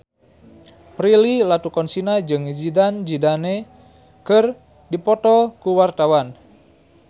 Prilly Latuconsina jeung Zidane Zidane keur dipoto ku wartawan